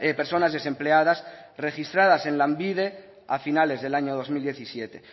personas desempleadas registradas en lanbide a finales del año dos mil diecisiete